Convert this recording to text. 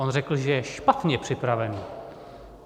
On řekl, že je špatně připravený.